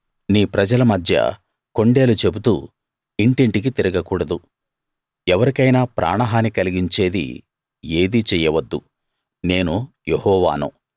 నీ ప్రజల మధ్య కొండేలు చెబుతూ ఇంటింటికి తిరగకూడదు ఎవరికైనా ప్రాణ హాని కలిగించేది ఏదీ చెయ్యవద్దు నేను యెహోవాను